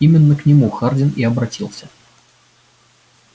именно к нему хардин и обратился